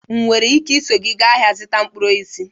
Enwere m ike iso gị gaa ahịa ịzụta mkpụrụ osisi?